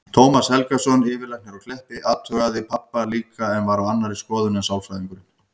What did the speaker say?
Tómas Helgason, yfirlæknir á Kleppi, athugaði pabba líka en var á annarri skoðun en sálfræðingurinn.